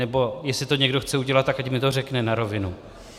Nebo jestli to někdo chce udělat, tak ať mi to řekne na rovinu.